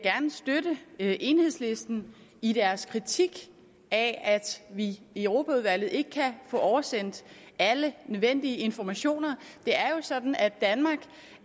gerne støtte enhedslisten i deres kritik af at vi i europaudvalget ikke kan få oversendt alle nødvendige informationer det er jo sådan at danmark